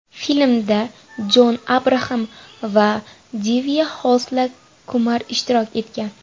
Filmda Jon Abraxam va Divya Xosla Kumar ishtirok etgan.